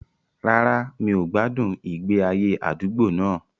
Rárá, mi ò gbádùn ìgbé ayé àdúgbò náà